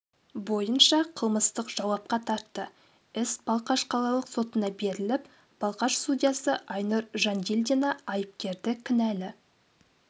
бойынша қылмыстық жауапқа тартты іс балқаш қалалық сотына беріліп балқаш судьясы айнұр жандильдина айыпкерді кінәлі